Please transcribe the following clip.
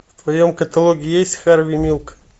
в твоем каталоге есть харви милк